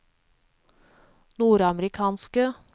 nordamerikanske